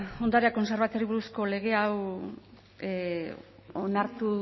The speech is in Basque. ondarea kontserbatzeari buruzko lege hau onartu